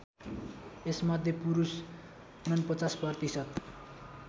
यसमध्ये पुरुष ४९ प्रतिशत